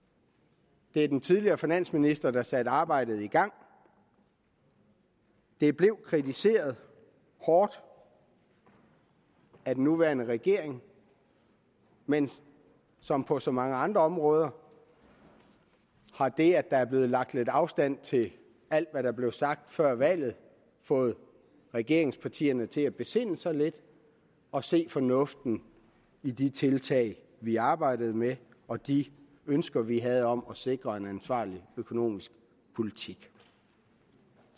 det var den tidligere finansminister der satte arbejdet i gang det blev kritiseret hårdt af den nuværende regering men som på så mange andre områder har det at der er blevet lagt lidt afstand til alt hvad der blev sagt før valget fået regeringspartierne til at besinde sig lidt og se fornuften i de tiltag vi arbejdede med og de ønsker vi havde om at sikre en ansvarlig økonomisk politik